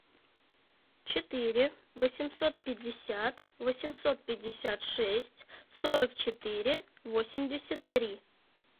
четыре восемьсот пятьдесят восемьсот пятьдесят шесть сорок четыре восемьдесят три